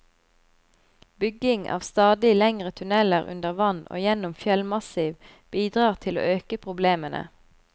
Bygging av stadig lengre tunneler under vann og gjennom fjellmassiv bidrar til å øke problemene.